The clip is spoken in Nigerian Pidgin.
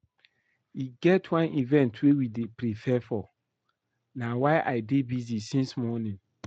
E get one event wey we dey prepare for na why I dey busy since morning